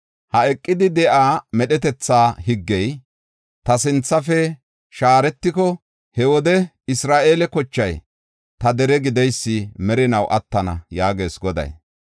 “Ha eqidi de7iya medhetetha higgey ta sinthafe shaaretiko, he wode Isra7eele kochay ta dere gideysi merinaw attana” yaagees Goday.